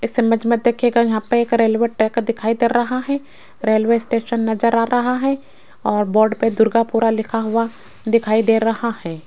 इस इमेज मे देखियेगा यहां पर एक रेलवे ट्रैक दिखाई दे रहा है रेलवे स्टेशन नज़र आ रहा है और बोर्ड पर दुर्गापुरा लिखा हुआ दिखाई दे रहा है।